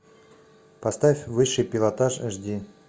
поставь высший пилотаж аш ди